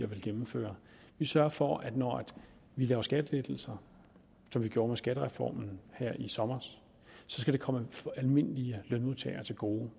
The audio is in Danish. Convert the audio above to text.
vil gennemføre vi sørger for at når vi laver skattelettelser som vi gjorde med skattereformen her i sommer skal det komme almindelige lønmodtagere til gode